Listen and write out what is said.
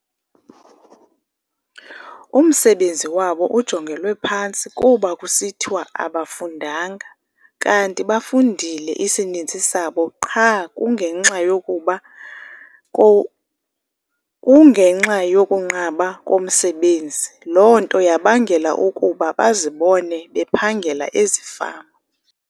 Umsebenzi wawo ujongelwe phantsi kuba kusithwa abafundanga, kanti bafundile isininzi sabo qha kungenxa yokuba kungenxa yokunqaba komsebenzi. Loo nto yabangela ukuba bazibone bephangela ezifama.